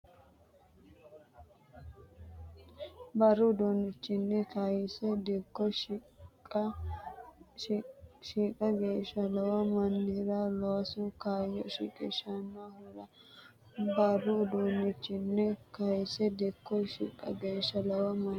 Buru uduunnichinni kayise dikko shiqqa geeshsha lowo mannira loosu kaayyo shiqishshannohura Buru uduunnichinni kayise dikko shiqqa geeshsha lowo mannira loosu.